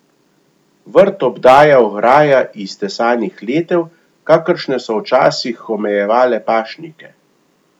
Vrt obdaja ograja iz tesanih letev, kakršne so včasih omejevale pašnike.